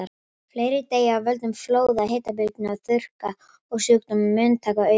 Fleiri deyja af völdum flóða, hitabylgna og þurrka, og sjúkdómar munu taka aukinn toll.